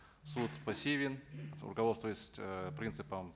суд пассивен руководствуясь э принципом